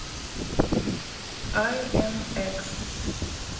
ай эм экс